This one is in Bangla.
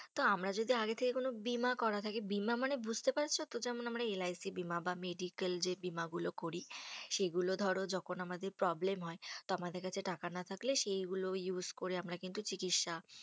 তো আমরা যদি আগে থেকে কোনো বীমা করা থাকে, বীমা মানে বুঝতে পারছো তো? যেমন আমরা LIC বীমা বা medical যে বীমা গুলো করি। সেগুলো ধরো যখন আমাদের problem হয়, তো আমাদের কাছে টাকা না থাকলে সেগুলো use করে আমরা কিন্তু চিকিৎসা